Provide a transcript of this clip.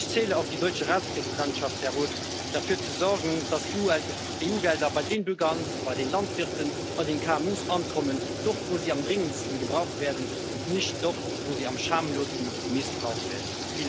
Ich zähle auf die deutsche Ratspräsidentschaft, Herr Roth, dass sie dafür sorgt, dass EU Gelder bei den Bürgern, bei den Landwirten, bei den KMU ankommen dort, wo sie am dringendsten gebraucht werden, und nicht dort, wo sie am schamlosesten missbraucht werden.